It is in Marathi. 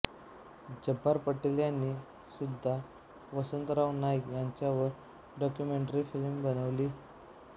जब्बार पटेल यांनी सुद्धा वसंतराव नाईक यांच्यावर डॉक्यूमेंटरी फिल्म बनवली